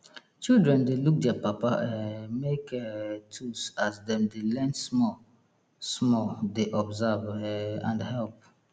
children dey look dier papa um make um tools as dem de learn small small dey observe um and help